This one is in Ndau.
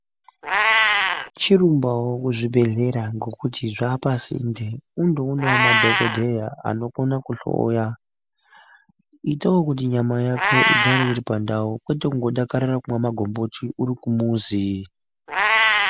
Chirumbawo kuzvibhedhlera ngokuti zvaapasinde undoonawo madhokodheya anokona kuhloya itawo kuti nyama yako igare iri pandau kwete kungodakarira kumwa magomboti uri kumuzi.